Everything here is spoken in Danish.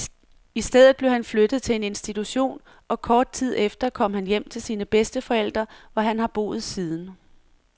I stedet blev han flyttet til en institution, og kort tid efter kom han hjem til sine bedsteforældre, hvor han har boet siden.